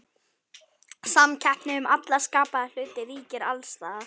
Samkeppni um alla skapaða hluti ríkir alls staðar.